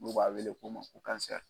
N'u b'a wele ko